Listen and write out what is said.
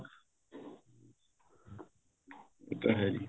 ਉਹ ਤਾਂ ਹੈ ਜੀ